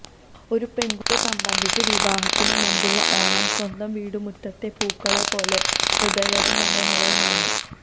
ഒരു പെണ്കുട്ടിയെ സംബന്ധിച്ച് വിവാഹത്തിനു മുമ്പുള്ള ഓണം സ്വന്തം വീട്ടു മുറ്റത്തെ പൂക്കളെ പോലെ ഹൃദ്യവും മനോഹരവുമാണ്